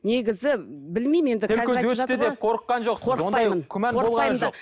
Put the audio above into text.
негізі білмеймін енді қорыққан жоқсыз қорықпаймын күмән болған жоқ